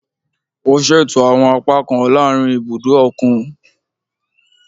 O ṣeto awọn apakan laarin ibudo okun